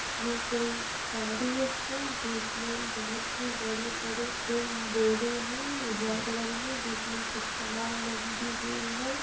ये कोई है जिसमे बहोत ही बड़े-बड़े बोरे है वाईट कलर मे जिसमे कुछ सामान लगी हुए है।